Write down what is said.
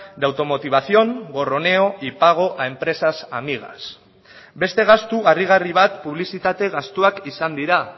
de automotivación gorroneo y pago a empresas amigas beste gastu harrigarri bat publizitate gastuak izan dira